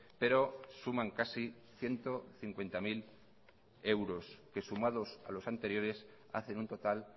pero suman casi ciento cincuenta mil euros que sumados a los anteriores hacen un total